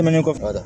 Tɛmɛnen kɔfɛ dɛ